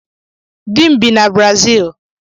Dim bi na Brazii